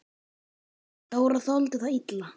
Dóra þoldi það illa.